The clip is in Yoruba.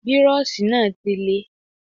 Bírọ́ọ̀ṣì náà ti le.